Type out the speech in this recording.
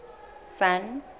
sun